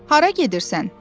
Hara gedirsən?